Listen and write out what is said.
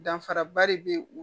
Danfaraba de bɛ u